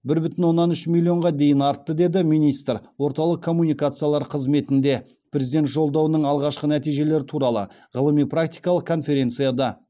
бір бүтін оннан үш миллионға дейін артты деді министр орталық коммуникациялар қызметінде президент жолдауының алғашқы нәтижелері туралы ғылыми практикалық конференцияда